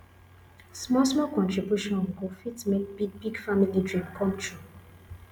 smallsmall contribution go fit make big big family dream come true